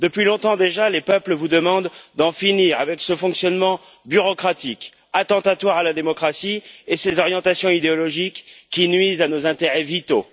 Depuis longtemps déjà, les peuples vous demandent d'en finir avec ce fonctionnement bureaucratique, attentatoire à la démocratie, et ses orientations idéologiques qui nuisent à nos intérêts vitaux.